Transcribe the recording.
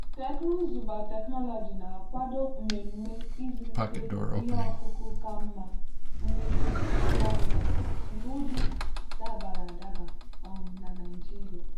teknụzụ biotechnology na-akwado mmemme ịzụlite ihe ọkụkụ ka mma mmepe ngwa ngwa nke ụdị dabara adaba um na nigeria.